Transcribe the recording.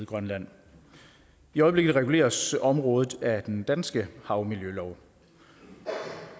grønland i øjeblikket reguleres området af den danske havmiljølov